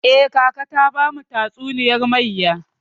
Eh, kaka ta bamu tatsuniyar mayya.